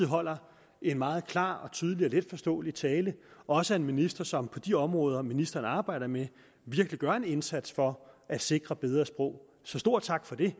holder en meget klar tydelig og letforståelig tale også en minister som på de områder ministeren arbejder med virkelig gør en indsats for at sikre bedre sprog så stor tak for det